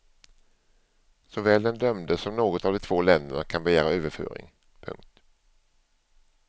Såväl den dömde som något av de två länderna kan begära överföring. punkt